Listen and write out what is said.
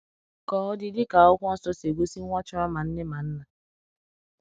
Ka ọ dị, dịka Akwụkwọ Nsọ si egosi, nwa chọrọ ma nne ma nna.